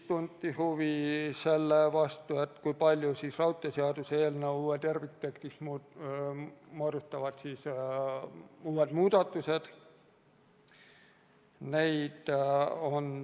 Tunti huvi selle vastu, kui suure osa raudteeseaduse eelnõu terviktekstist moodustavad uued muudatused.